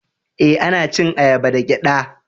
Eh, ana cin ayaba da giɗɗa.